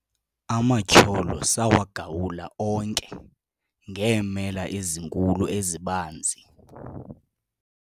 amatyholo sawagawula onke ngeemela ezinkulu ezibanzi